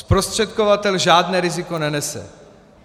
Zprostředkovatel žádné riziko nenese.